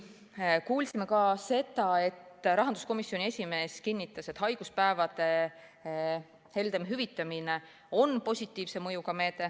Me kuulsime ka seda, et rahanduskomisjoni esimees kinnitas, et haiguspäevade heldem hüvitamine on positiivse mõjuga meede.